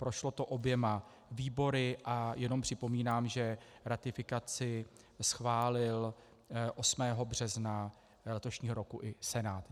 Prošlo to oběma výbory a jenom připomínám, že ratifikaci schválil 8. března letošního roku i Senát.